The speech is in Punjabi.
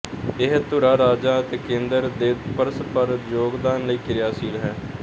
ਇਹ ਧੁਰਾ ਰਾਜਾਂ ਤੇ ਕੇਂਦਰ ਦੇ ਪਰਸਪਰ ਯੋਗਦਾਨ ਲਈ ਕਿਰਿਆਸ਼ੀਲ ਹੈ